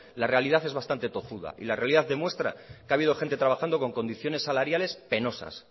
la realidad es bastante tozuda y la realidad demuestras que ha habido gente trabajando con condiciones salariales penosas